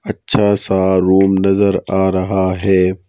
अच्छा सा रूम नजर आ रहा है।